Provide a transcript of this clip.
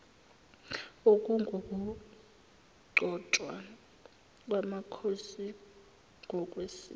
okungukugcotshwa kwamakhosi ngokwesiko